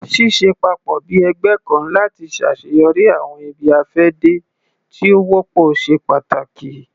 Ṣiṣẹ papọ bi ẹgbẹ kan lati ṣaṣeyọri awọn ibi-afẹde ti o wọpọ ṣe pàtàkì